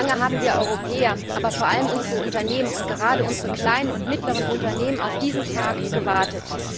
Lange haben wir Europäer, aber vor allem unsere Unternehmen und gerade unsere kleinen und mittleren Unternehmen auf diesen Tag gewartet.